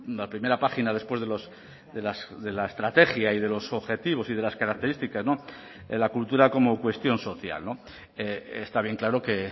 la primera página después de la estrategia y de los objetivos y de las características en la cultura como cuestión social está bien claro que